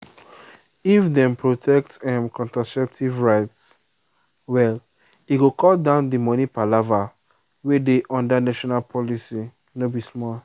if dem protect um contraceptive rights well e go cut down the money palava wey dey under national policy no be small.